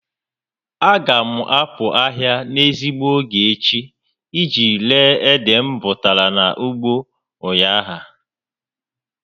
A ga m a pụ ahịa n'ezigbo ógè echi iji ree ede m bụtara na ugbo ụnyaahụ